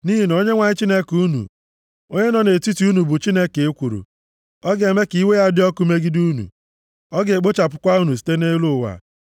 Nʼihi na Onyenwe anyị Chineke unu, onye nọ nʼetiti unu, bụ Chineke ekworo. Ọ ga-eme ka iwe ya dị ọkụ megide unu, ọ ga-ekpochapụkwa unu site nʼelu ụwa.